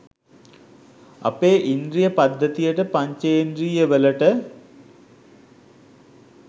අපේ ඉන්ද්‍රිය පද්ධතියට පංචෙන්ද්‍රියවලට